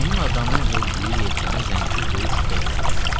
Meymun adamın hövürdüyü yelkənə zənci böyük şübhə ilə baxırdı.